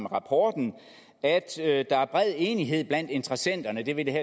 rapporten at der er bred enighed blandt interessenterne hvilket